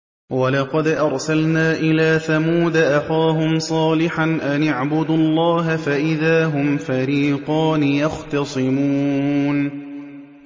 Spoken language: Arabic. وَلَقَدْ أَرْسَلْنَا إِلَىٰ ثَمُودَ أَخَاهُمْ صَالِحًا أَنِ اعْبُدُوا اللَّهَ فَإِذَا هُمْ فَرِيقَانِ يَخْتَصِمُونَ